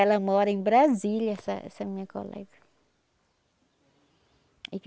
Ela mora em Brasília, essa essa minha colega.